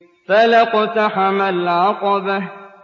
فَلَا اقْتَحَمَ الْعَقَبَةَ